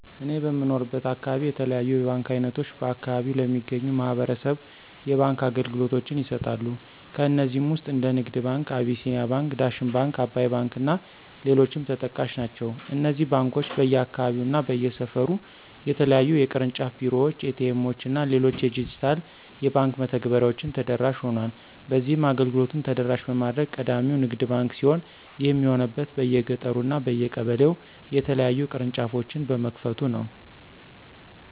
እኔ በምኖርበት አካባቢ የተለያዩ የባንክ አይነቶች በአከባቢው ለሚገኙ ማህበረሰብ የባንክ አገልግሎቶችን ይሰጣሉ። ከነዚህም ውስጥ እንደ ንግድ ባንክ፣ አቢሲኒያ ባንክ፣ ዳሽን ባንክ፣ አባይ ባንክ እና ሌሎችም ተጠቃሽ ናቸው። እነዚህ ባንኮች በየአካባቢው እና በየሰፈሩ የተለያዩ የቅርንጫፍ ቢሮዎች፣ ኤ.ቲ. ኤምዎች እና ሌሎች የዲጂታል የባንክ መተግበሬዎችን ተደራሽ ሆኗል። በዚህም አገልግሎቱን ተደራሽ በማድረግ ቀዳሚው ባንክ ንግድ ባንክ ሲሆን ይህም የሆነበት በየገጠሩ እና በየቀበሌው የተለያዩ ቅርንጫፎችን በመክፈቱ ነው።